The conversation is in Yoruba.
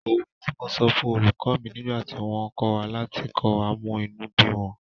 Òwe tí mo sọ fún olùkọ́ mi nígbà tí wọ́n kọ̀ láti kọ́ wa mú inú bí wọn